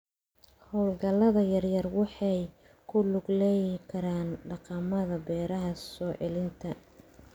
Hawlgallada yaryar waxay ku lug yeelan karaan dhaqamada beeraha soo celinta.